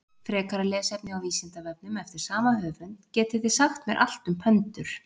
Frekara lesefni á Vísindavefnum eftir sama höfund: Getið þið sagt mér allt um pöndur?